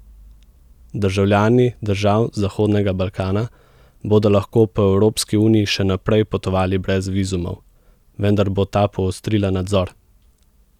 Državljani držav Zahodnega Balkana bodo lahko po Evropski uniji še naprej potovali brez vizumov, vendar bo ta poostrila nadzor.